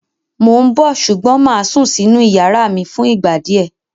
Mó ń bọ̀ ṣùgbọ́n mà á sún sínú ìyàrá mi fún ìgbà díẹ̀.